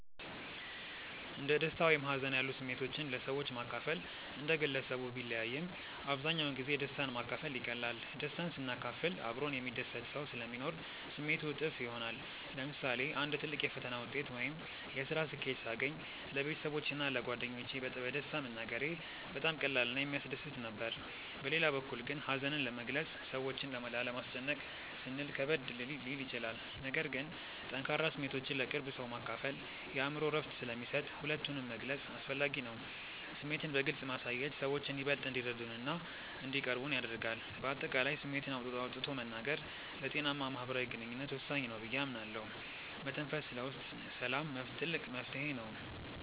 እንደ ደስታ ወይም ሀዘን ያሉ ስሜቶችን ለሰዎች ማካፈል እንደ ግለሰቡ ቢለያይም፣ አብዛኛውን ጊዜ ደስታን ማካፈል ይቀላል። ደስታን ስናካፍል አብሮን የሚደሰት ሰው ስለሚኖር ስሜቱ እጥፍ ይሆናል። ለምሳሌ አንድ ትልቅ የፈተና ውጤት ወይም የስራ ስኬት ሳገኝ ለቤተሰቦቼ እና ለጓደኞቼ በደስታ መናገሬ በጣም ቀላል እና የሚያስደስት ነበር። በሌላ በኩል ግን ሀዘንን መግለጽ ሰዎችን ላለማስጨነቅ ስንል ከበድ ሊል ይችላል። ነገር ግን ጠንካራ ስሜቶችን ለቅርብ ሰው ማካፈል የአእምሮ እረፍት ስለሚሰጥ ሁለቱንም መግለጽ አስፈላጊ ነው። ስሜትን በግልጽ ማሳየት ሰዎችን ይበልጥ እንዲረዱንና እንዲቀርቡን ያደርጋል። በአጠቃላይ ስሜትን አውጥቶ መናገር ለጤናማ ማህበራዊ ግንኙነት ወሳኝ ነው ብዬ አምናለሁ። መተንፈስ ለውስጥ ሰላም ትልቅ መፍትሄ ነው።